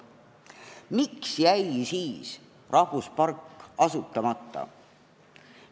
Miks jäi siis rahvuspark asutamata?